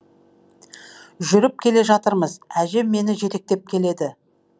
жүріп келе жатырыз әжем мені жетектеп келеді